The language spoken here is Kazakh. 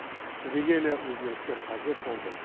түбегейлі өзгерістер қажет болды